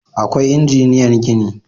Akwai injiniyan gini